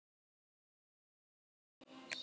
Leiðin til Parísar var greið.